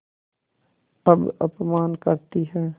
अब अपमान करतीं हैं